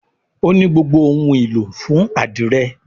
O ní gbogbo òun ìlò fún adire